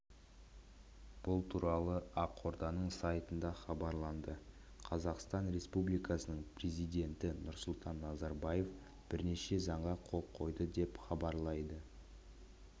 бұл туралы ақорданың сайтында хабарланды қазақстан республикасының президенті нұрсұлтан назарбаев бірнеше заңға қол қойды деп хабарлайды